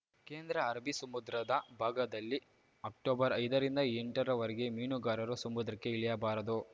ಕೇಂದ್ರ ಅರಬ್ಬೀ ಸಮುದ್ರದ ಭಾಗದಲ್ಲಿ ಅಕ್ಟೊಬರ್ಐದರಿಂದ ಎಂಟರವರೆಗೆ ಮೀನುಗಾರರು ಸಮುದ್ರಕ್ಕೆ ಇಳಿಯಬಾರದು